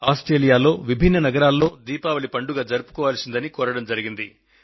ఆస్ట్రేలియాలోని వివిధ నగరాలలో దీపావళి పండుగ జరుపుకోవాల్సిందిగా కోరడం జరిగింది